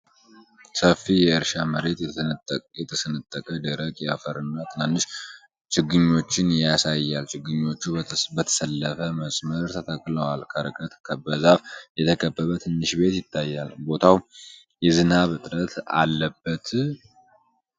ሰፊ የእርሻ መሬት፣ የተሰነጠቀ ደረቅ አፈርና ትናንሽ ችግኞችን ያሳያል። ችግኞቹ በተሰለፈ መስመር ተተክለዋል። ከርቀት በዛፍ የተከበበ ትንሽ ቤት ይታያል። ቦታው የዝናብ እጥረት አለበት?